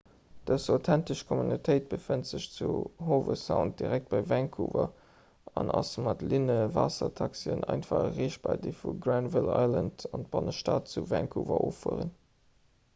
dës authentesch communautéit befënnt sech zu howe sound direkt bei vancouver a ass mat linnewaassertaxien einfach erreechbar déi vu granville island an d'bannestad vu vancouver offueren